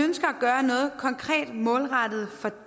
gøre noget konkret målrettet for